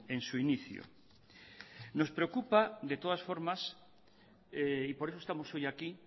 en su inicio nos preocupa de todas las formas y por eso estamos hoy aquí